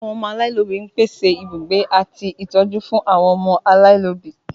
Ilé àwọn ọmọ aláìlóbi ń pèsè ibùgbé àti ń ṣe ìtọ́jú fún àwọn ọmọ aláìlóbi